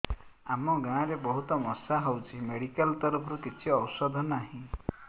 ଆମ ଗାଁ ରେ ବହୁତ ମଶା ହଉଚି ମେଡିକାଲ ତରଫରୁ କିଛି ଔଷଧ ନାହିଁ